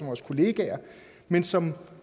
vores kollegaer men som